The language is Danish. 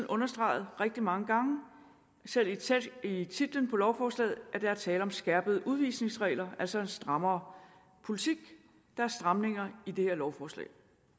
understreget rigtig mange gange selv i titlen på lovforslaget at der er tale om skærpede udvisningsregler altså en strammere politik der er stramninger i det her lovforslag